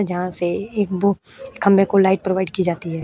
जहाँ से एक बू खम्बे को लाइट प्रोवाइड की जाती है।